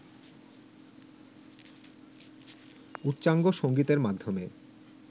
উচ্চাঙ্গ সংগীতের মাধ্যমে